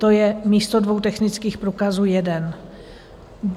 To je místo dvou technických průkazů jeden.